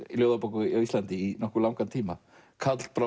ljóðabók á Íslandi í langan tíma